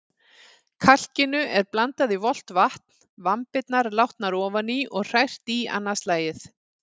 Kalkinu er blandað í volgt vatn, vambirnar látnar ofan í og hrært í annað slagið.